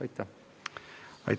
Aitäh!